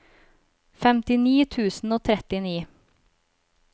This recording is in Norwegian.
femtini tusen og trettini